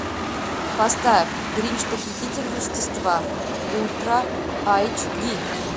поставь гринч похититель рождества ультра айч ди